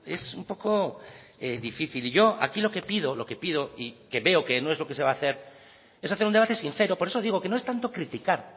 es un poco difícil yo aquí lo que pido y que veo que no es lo que se va a hacer es hacer un debate sincero por eso digo que no es tanto criticar